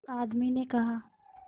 उस आदमी ने कहा